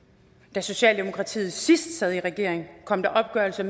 da socialdemokratiet sidst sad i regering kom der en opgørelse